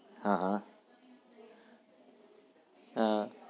હા હા